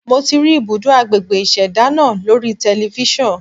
Mo ti rí ibùdó agbègbè ìṣẹ̀dá náà lórí telifíṣàn.